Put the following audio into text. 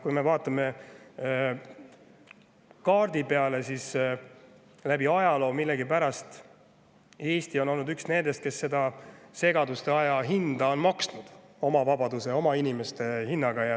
Kui me vaatame kaarti, siis, et läbi ajaloo on Eesti olnud millegipärast üks nendest, kes seda segaduste hinda on maksnud oma vabaduse ja oma inimeste hinnaga.